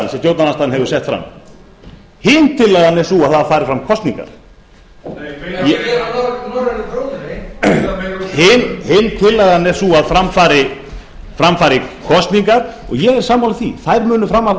stjórnarandstaðan hefur sett fram hin tillagan er sú að það fari fram kosningar hin tillagan er sú að fram fari kosningar og ég er sammála því þær munu fara fram